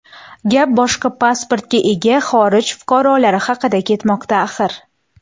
Gap boshqa pasportga ega xorij fuqarolari haqida ketmoqda axir.